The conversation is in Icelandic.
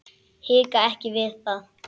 Hika ekki við það.